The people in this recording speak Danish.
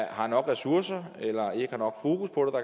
har nok ressourcer eller ikke